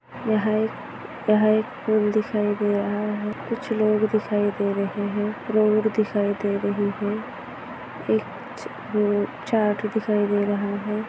यहाँ एक यहा एक पूल दिखाई दे रहा है कुछ लोग दिखाई दे रहे है रोड दिखाई दे रही है एक वो चार्ट दिखाई दे रहा है।